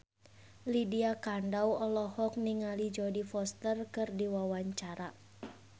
Lydia Kandou olohok ningali Jodie Foster keur diwawancara